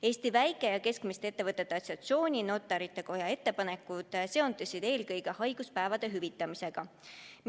Eesti Väike- ja Keskmiste Ettevõtjate Assotsiatsiooni ja Notarite Koja ettepanekud seondusid eelkõige haiguspäevade hüvitamisega.